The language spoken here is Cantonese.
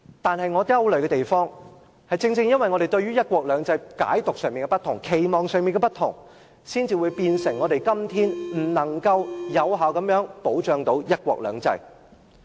可是，我憂慮的地方，正正因為我們對"一國兩制"的解讀及期望不同，令我們今天不能有效保障"一國兩制"。